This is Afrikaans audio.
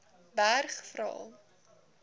berg vra